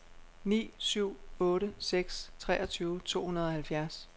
ni syv otte seks treogtyve to hundrede og halvfjerds